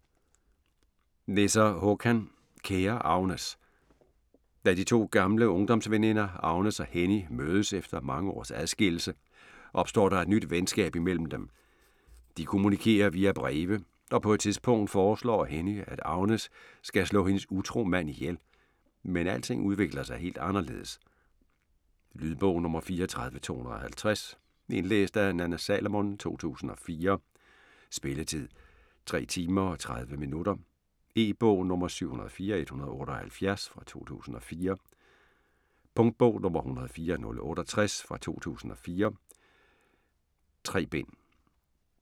Nesser, Håkan: Kære Agnes! Da de to gamle ungdomsveninder Agnes og Henny mødes efter mange års adskillelse, opstår der et nyt venskab mellem dem. De kommunikerer via breve, og på et tidspunkt foreslår Henny at Agnes skal slå hendes utro mand ihjel, men alting udvikler sig helt anderledes. Lydbog 34250 Indlæst af Nanna Salomon, 2004. Spilletid: 3 timer, 30 minutter. E-bog 704178 2004. Punktbog 104068 2004. 3 bind.